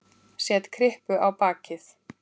Set kryppu á bakið.